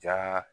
Ja